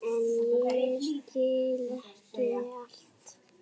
En ég skil ekki allt.